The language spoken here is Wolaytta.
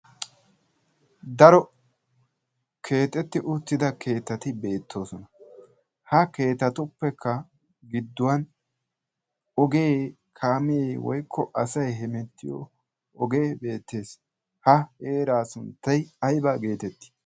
daro keexetti uuttida keettati beettoosona ha keetatuppekka gidduwan ogee kaamee woikko asai hemettiyo ogee beettees. ha eeraa sunttai aiba geetettii?